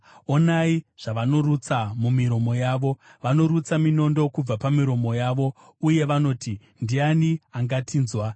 Onai zvavanorutsa mumiromo yavo: vanorutsa minondo kubva pamiromo yavo, uye vanoti, “Ndiani angatinzwa?”